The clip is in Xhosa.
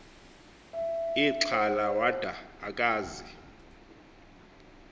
ixhala wada akazi